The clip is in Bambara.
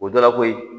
O dɔ la koyi